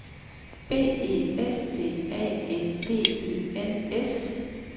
B E S T A N D E N S